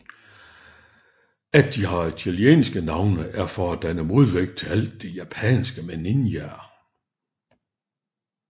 At de har italienske navne er for at danne modvægt til alt det japanske med ninjaer